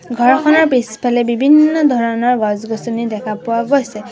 ঘৰখনৰ পিছফালে বিভিন্ন ধৰণৰ গছ গছনি দেখা পোৱা গৈছে।